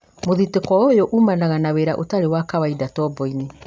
mũthitũko ũyũ uumanaga na wĩra ũtarĩ wa kawaida tombo-inĩ